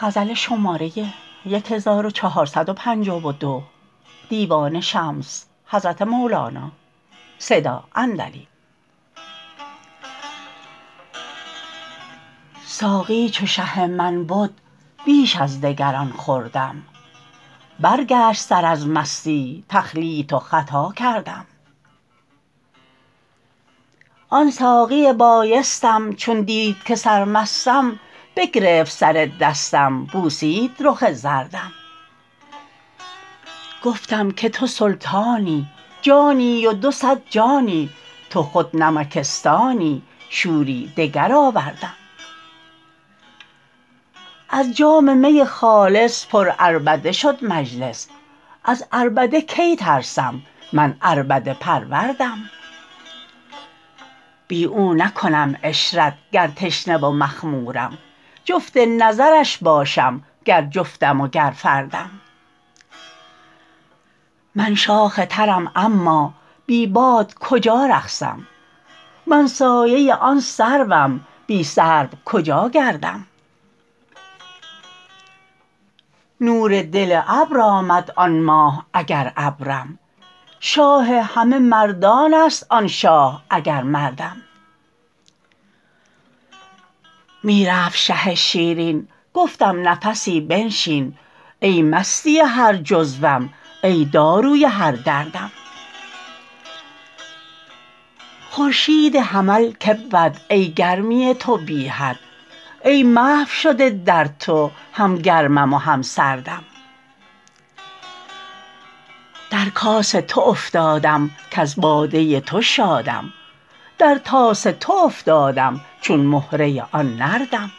ساقی چو شه من بد بیش از دگران خوردم برگشت سر از مستی تخلیط و خطا کردم آن ساقی بایستم چون دید که سرمستم بگرفت سر دستم بوسید رخ زردم گفتم که تو سلطانی جانی و دو صد جانی تو خود نمکستانی شوری دگر آوردم از جام می خالص پرعربده شد مجلس از عربده کی ترسم من عربده پروردم بی او نکنم عشرت گر تشنه و مخمورم جفت نظرش باشم گر جفتم وگر فردم من شاخ ترم اما بی باد کجا رقصم من سایه آن سروم بی سرو کجا گردم نور دل ابر آمد آن ماه اگر ابرم شاه همه مردان است آن شاه اگر مردم می رفت شه شیرین گفتم نفسی بنشین ای مستی هر جزوم ای داروی هر دردم خورشید حمل که بود ای گرمی تو بی حد ای محو شده در تو هم گرمم و هم سردم در کاس تو افتادم کز باده تو شادم در طاس تو افتادم چون مهره آن نردم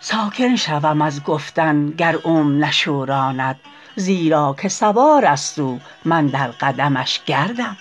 ساکن شوم از گفتن گر اوم نشوراند زیرا که سوار است او من در قدمش گردم